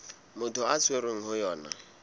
motho a tshwerweng ho yona